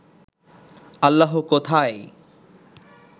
আল্লাহ কোথায়?